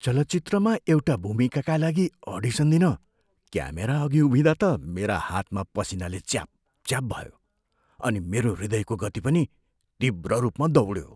चलचित्रमा एउटा भूमिकाका लागि अडिसन दिन क्यामेरा अघि उभिँदा त मेरा हातमा पसिनाले च्यापच्याप भयो अनि मेरो हृदयको गति पनि तीव्र रूपमा दौड्यो।